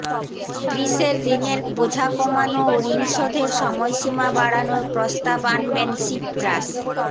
গ্রিসের ঋনের বোঝা কমানো ও ঋণশোধের সময়সীমা বাড়ানোর প্রস্তাব আনবেন সিপ্রাস